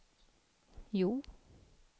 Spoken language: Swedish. Hjo